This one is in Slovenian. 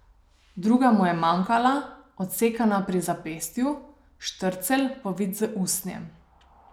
Druga mu je manjkala, odsekana pri zapestju, štrcelj, povit z usnjem.